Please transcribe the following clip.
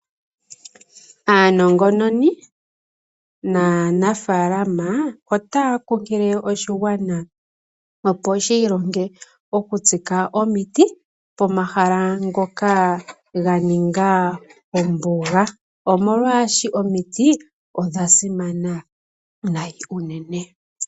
Aanongononi naanafaalama otaya kunkilile oshigwana opo shiilonge okutsika omiti, pomahala ngoka ganika omboga, molwaashoka omiti odha simana unene.